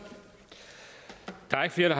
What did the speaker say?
er